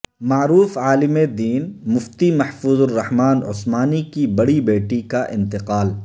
معروف عالم دین مفتی محفوظ الرحمن عثمانی کی بڑی بیٹی کا انتقال